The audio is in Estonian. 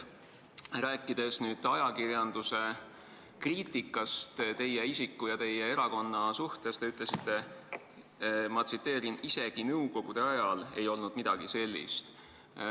Rääkides ajakirjanduse kriitikast teie isiku ja teie erakonna suhtes, te ütlesite: "Isegi nõukogude ajal ei olnud midagi sellist.